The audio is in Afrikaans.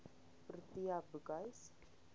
protea boekhuis